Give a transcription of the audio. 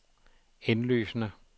indlysende